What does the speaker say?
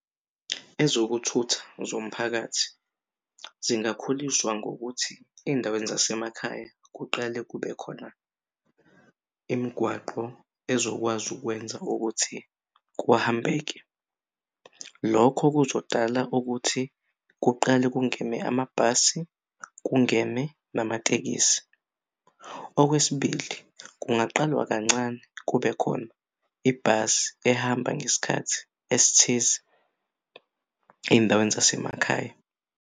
Ezokuthutha zomphakathi zingakhuliswa ngokuthi ey'ndaweni zasemakhaya kuqale kube khona imigwaqo ezokwazi ukwenza ukuthi kuhambeke. Lokho kuzodala ukuthi kuqale kungemi amabhasi, kungemi namatekisi. Okwesibili, kungaqalwa kancane kubekhona ibhasi ehamba ngesikhathi esithize ey'ndaweni zasemakhaya.